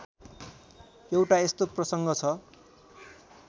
एउटा यस्तो प्रसङ्ग छ